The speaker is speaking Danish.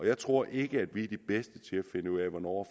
jeg tror ikke at vi er de bedste til at finde ud af hvornår